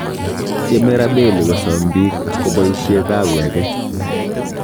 Tieme Rabelli Kosom biik koboishe kawi age